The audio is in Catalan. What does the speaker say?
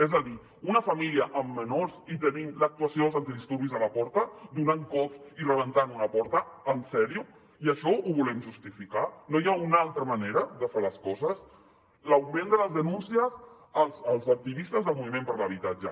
és a dir una família amb menors i tenint l’actuació dels antidisturbis a la porta donant cops i rebentant una porta en sèrio i això ho volem justificar no hi ha una altra manera de fer les coses l’augment de les denúncies als activistes del moviment per l’habitatge